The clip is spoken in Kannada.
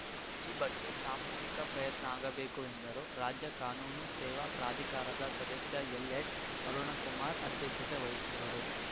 ಈ ಬಗ್ಗೆ ಸಾಮೂಹಿಕ ಪ್ರಯತ್ನ ಆಗಬೇಕು ಎಂದರು ರಾಜ್ಯ ಕಾನೂನು ಸೇವಾ ಪ್ರಾಧಿಕಾರದ ಸದಸ್ಯ ಎಲ್‌ಎಚ್‌ಅರುಣಕುಮಾರ ಅಧ್ಯಕ್ಷತೆ ವಹಿಸಿದ್ದರು